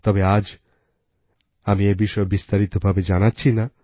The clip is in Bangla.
তবে আজ আমি এই বিষয়ে বিস্তারিত ভাবে জানাচ্ছি না